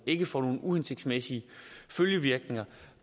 ikke får nogen uhensigtsmæssige følgevirkninger